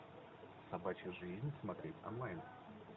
собачья жизнь смотреть онлайн